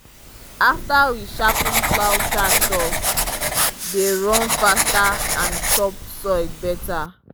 after we sharpen plow tractor dey run faster and chop soil better.